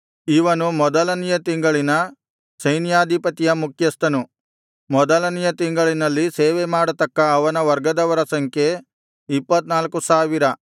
ಇವನು ಮೊದಲನೆಯ ತಿಂಗಳಿನ ಸೈನ್ಯಾಧಿಪತಿಯ ಮುಖ್ಯಸ್ಥನು ಮೊದಲನೆಯ ತಿಂಗಳಿನಲ್ಲಿ ಸೇವೆ ಮಾಡತಕ್ಕ ಅವನ ವರ್ಗದವರ ಸಂಖ್ಯೆ ಇಪ್ಪತ್ತ್ನಾಲ್ಕು ಸಾವಿರ